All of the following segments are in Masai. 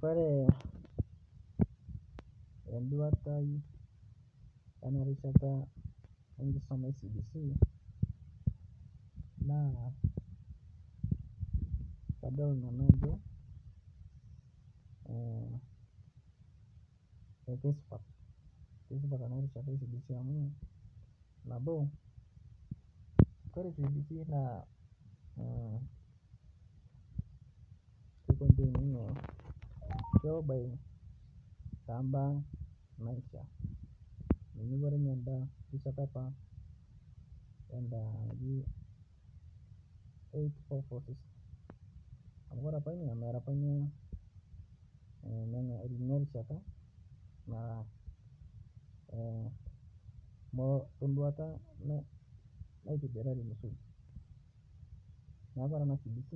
Kore enduata tenarishata enkisuma e cbc naa kadol nanu ajo keisupat ana rishata CBC nabo, Kore cbc naa kekontain ninye kelo taa mbaa naishia menyunyukore ninye anda rishata apa anda naji eight four four system amu Kore apa nia Mera mirkino nia rishata naa molo tenduata naitibirari msuri, naaku Kore ana cbc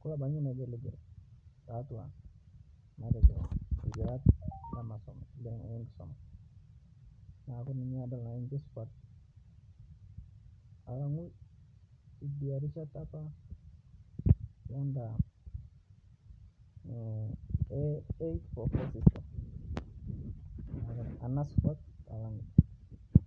kolo abaki ninye negel negel tatua lkilat le nkisuma naaku ninye adol nanu ajo keisupat alang'u idia rishata apa anda eight four four system. Ana supat anang idia.